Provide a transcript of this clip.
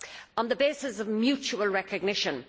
on the basis of mutual recognition.